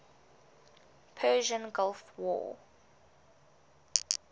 persian gulf war